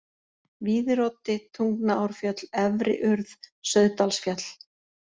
Víðiroddi, Tungnaárfjöll, Efri-Urð, Sauðdalsfjall